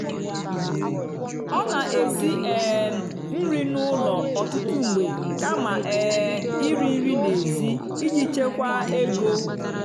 ọ́ nà-èsì um nrì n'ụ́lọ̀ ọ́tụtụ́ mgbe kàmà um ìrì nrì n'èzì ìjì chèkwáà égó.